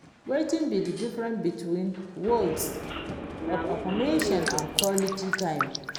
Wetin be di difference between words of affirmation and quality time?